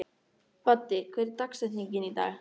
Baddi, hver er dagsetningin í dag?